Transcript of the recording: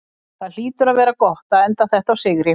Það hlýtur að vera gott að enda þetta á sigri?